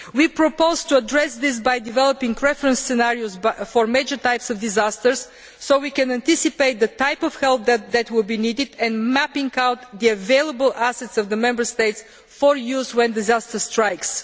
We propose to address this by developing reference scenarios for major types of disasters so that we can anticipate the type of help that will be needed, and by mapping out the available assets in the Member States for use when disaster strikes.